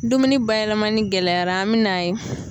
Dumuni bayɛlɛmani gɛlɛyara an bɛ na ye.